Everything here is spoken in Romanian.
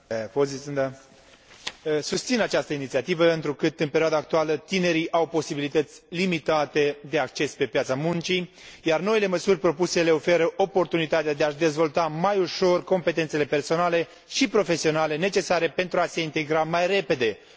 Susțin această inițiativă, întrucât în perioada actuală, tinerii au posibilități limitate de acces pe piața muncii, iar noile măsuri propuse le oferă oportunitatea de a își dezvolta mai ușor competențele personale și profesionale necesare pentru a se integra mai repede într un mediu intercultural.